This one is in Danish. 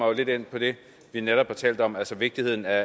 jo lidt ind på det vi netop har talt om altså vigtigheden af